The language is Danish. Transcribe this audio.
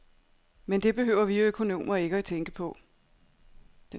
Men det behøver vi økonomer ikke tænke på.